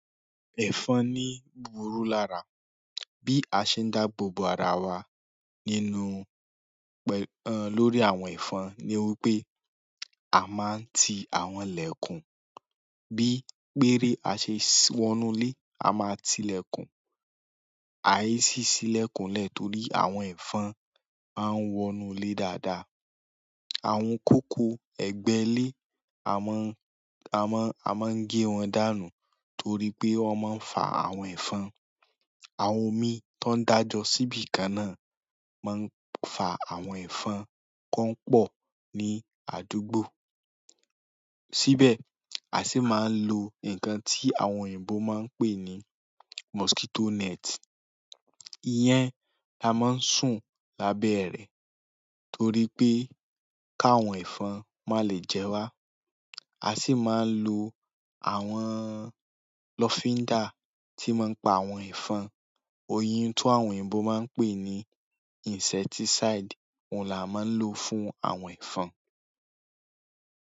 Ẹ̀fọn ní búburú lára. Bí a ṣe ń dá gbogbo ara wa nínú pẹ̀, lórí àwọn ẹ̀fọn ni wípé a máa ń ti àwọn ìlẹ̀kùn. Bí péré a ṣe wọnulé, a máa ti ìlẹ̀kùn. Àìsí sí ìlẹ̀kùn lẹ̀ torí àwọn ẹ̀fọn a ń wọnulé dáadáa. Àwọn kòkó ẹgbẹ́ lé a máa ń, a máa ń, a máa ń gé wọn dànù torí pé wọ́n máa ń fa àwọn ẹ̀fọn. Àwọn omi tó ń dájọ síbí kan náà máa ń fa àwọn ẹ̀fọn kó pọ̀ ní àdúgbò. Síbẹ̀ a sì máa ń lo nǹkan tí àwọn òyìnbó máa ń pè ní mosquito net. Iyẹn la máa ń sùn lábẹ́ rẹ torí pé ká àwọn ẹ̀fọn má lè jẹ wá. A sì máa ń lo àwọn lọfinda tí máa ń pa àwọn ẹ̀fọn. Oyin ti àwọn òyìnbó máa ń pè ní insecticide òun la máa ń lò fún àwọn ẹ̀fọn.